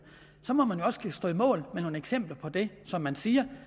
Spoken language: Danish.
så må man jo også kunne stå på mål med nogle eksempler på det man siger